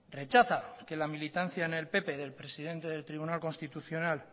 rechaza que la militancia en el pp del presidente del tribunal constitucional